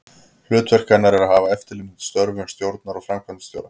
Hlutverk hennar er að hafa eftirlit með störfum stjórnar og framkvæmdastjóra.